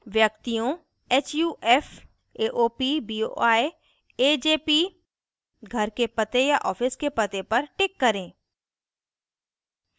व्यक्तियों/hufs/aop/boi/ajp घर के पते या office के पते पर tick करें